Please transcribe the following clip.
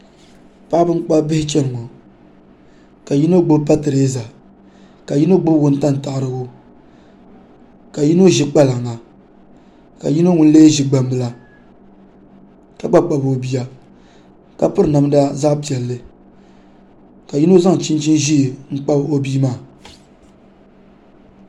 Paɣaba n kpabi biho chɛni ŋo ka yino gbubi patirɛza ka yino gbubi wuntaŋ taɣarigu ka yino gbubi kpalaŋa ka yino ŋun lee ʒi gbambila ka gba kpabi o bia ka yino gbubi namda zaɣ piɛlli ka zaŋ chinchin ʒiɛ n kpabi o bia maa